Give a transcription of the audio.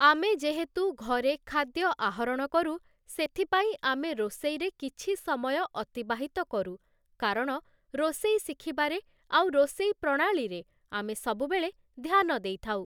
ଆମେ ଯେହେତୁ ଘରେ ଖାଦ୍ୟ ଆହରଣ କରୁ ସେଥିପାଇଁ ଆମେ ରୋଷଇରେ କିଛି ସମୟ ଅତିବାହିତ କରୁ କାରଣ ରୋଷେଇ ଶିଖିବା ରେ ଆଉ ରୋଷେଇ ପ୍ରଣାଳୀ ରେ ଆମେ ସବୁବେଳେ ଧ୍ୟାନ ଦେଇଥାଉ ।